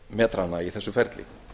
metrana í þessu ferli